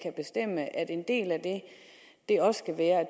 en del af det også skal være at